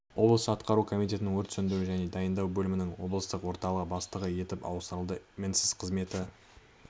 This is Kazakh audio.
облыс атқару комитетінің өрт сөндіру және дайындау бөлімінің облыстық орталығы бастығы етіп ауыстырады мінсіз қызметі